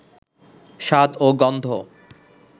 স্বাদ ও গন্ধ